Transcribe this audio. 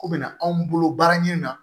Ko bɛna anw bolo baara ɲini na